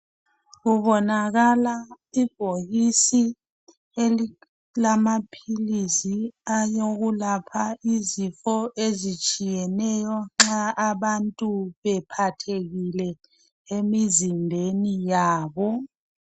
Kubonakala ibhokisi elilamaphilisi alokulapha izifo ezitshiyeneyo nxa abantu bephathekile emizimbeni yabo